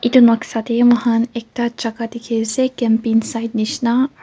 edu noksa tae mokhan ekta jaka dikhiase camping site nishina ar--